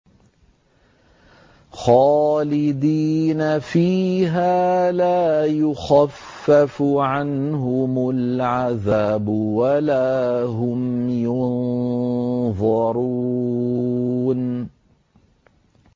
خَالِدِينَ فِيهَا لَا يُخَفَّفُ عَنْهُمُ الْعَذَابُ وَلَا هُمْ يُنظَرُونَ